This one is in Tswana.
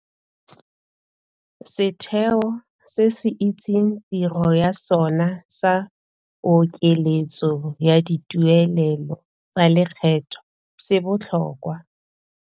Setheo se se itseng tiro ya sona sa pokeletso ya dituelelo tsa lekgetho se botlhokwa.